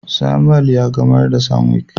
Samuel ya gamar da sanwic.